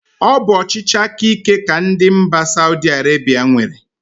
Ọ bụ ọchịchị aka íké ka ndị mba Saudi Arebia nwere.